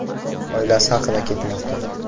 oilasi haqida ketmoqda.